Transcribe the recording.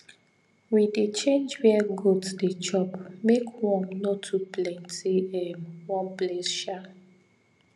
we dey change where goat dey chop make worm no too plenty um one place